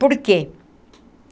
Por quê?